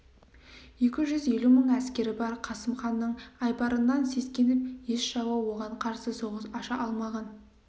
екі жүз елу мың әскері бар қасым ханның айбарынан сескеніп еш жауы оған қарсы соғыс аша алмаған